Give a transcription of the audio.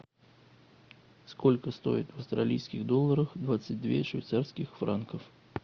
сколько стоит австралийских долларов двадцать две швейцарских франков